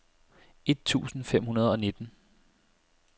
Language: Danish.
et tusind fem hundrede og nitten